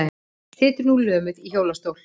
Situr nú lömuð í hjólastól.